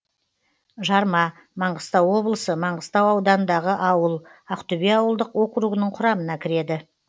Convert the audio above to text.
жарма маңғыстау облысы маңғыстау ауданындағы ауыл ақтөбе ауылдық округінің құрамына кіреді